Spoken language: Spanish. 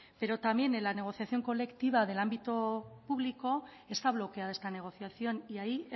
pero también en la negociación colectiva del ámbito público está bloqueada esta negociación y ahí